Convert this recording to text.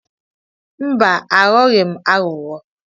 Mba, aghọghị m aghụghọ.